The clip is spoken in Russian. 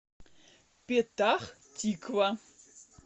петах тиква